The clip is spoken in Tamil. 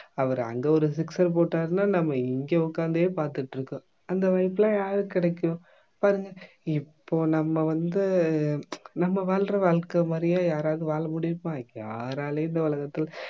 அவரு அங்க ஒரு sixer போட்டாருனா நம்ம இங்க உட்கார்ந்தே பார்த்துகிட்டிருக்கோம் அந்த வாய்ப்பெல்லாம் யாருக்கு கிடைக்கும் பாருங்க இப்போ நம்ம வந்து நம்ம வாழ்ற வாழ்க்கை மாதிரியே யாராவது வாழ முடியுமா யாராலயும் இந்த உலகத்துல